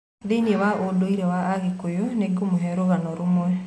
Thĩiniĩ wa ũndũire wa Agĩkũyũ, nĩngũmũhe rũgano rũmwe